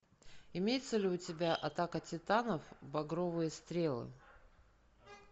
имеется ли у тебя атака титанов багровые стрелы